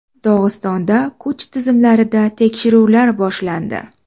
Dog‘istonda kuch tizimlarida tekshiruvlar boshlandi.